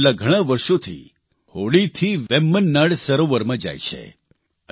તેઓ છેલ્લા ઘણા વર્ષોથી હોડીથી વેમ્બનાડ સરોવરમાં જાય છે